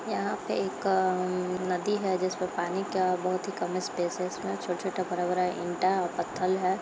यहाँ पे एक अ नदी है जिस पर पानी का बहुत ही कम स्पेस है। इसमें छोटा-छोटा बड़ा-बड़ा ईंटा और पत्थल है।